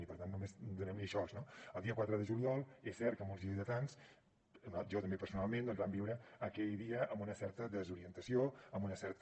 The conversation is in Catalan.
i per tant només donem hi això no el dia quatre de juliol és cert que molts lleidatans jo també personalment doncs vam viure aquell dia amb una certa desorientació amb una certa